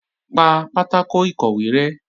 Pa pátákò ìkọ̀wé rẹ́!